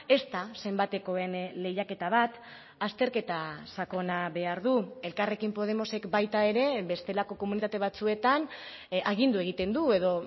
ez da zenbatekoen lehiaketa bat azterketa sakona behar du elkarrekin podemosek baita ere bestelako komunitate batzuetan agindu egiten du edo